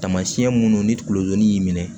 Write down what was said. Taamasiyɛn minnu ni tulodon y'i minɛ